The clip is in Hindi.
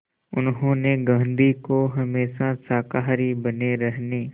उन्होंने गांधी को हमेशा शाकाहारी बने रहने